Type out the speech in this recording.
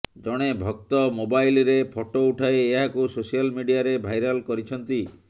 ଜଣେ ଭକ୍ତ ମୋବାଇଲରେ ଫଟୋ ଉଠାଇ ଏହାକୁ ସୋସିଆଲ ମିଡିଆରେ ଭାଇରାଲ କରିଛନ୍ତି